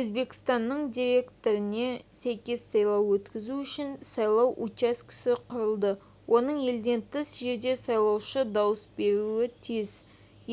өзбекстанның деректеріне сәйкес сайлау өткізу үшін сайлау учаскесі құрылды оның елден тыс жерде сайлаушы дауыс беруі тиіс